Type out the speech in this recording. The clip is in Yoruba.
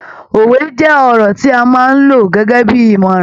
Òwe jẹ́ ọ̀rọ̀ tí a máa ń lo gẹ́gẹ́bí ìmọ̀ràn.